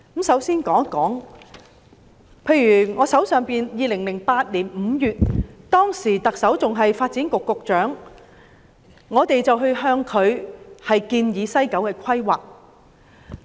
首先，在2008年5月，我曾向當時的發展局局長提出有關西九規劃的建議。